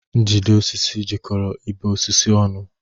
Njide osisi jikoro ibe osisi ọnụ.